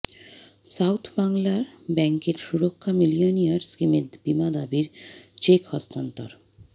south Bangla ব্যাংকের সুরক্ষা millionaire স্কিমের বীমা দাবির চেক হস্তান্তর